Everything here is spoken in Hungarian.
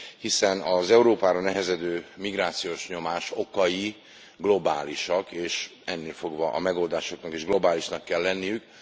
Hiszen az Európára nehezedő migrációs nyomás okai globálisak, és ennélfogva a megoldásoknak is globálisaknak kell lenniük.